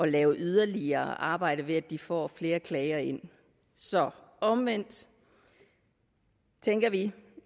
lave yderligere arbejde ved at de får flere klager ind omvendt tænker vi